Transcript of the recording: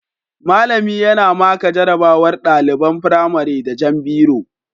Mallami yana maka jarabawar ɗaliban firamare da jan biro